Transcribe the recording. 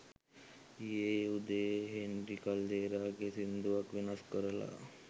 ඊයේ උදයේ හේන්රි කල්දේරා ගේ සින්දුවක් වෙනස් කරලා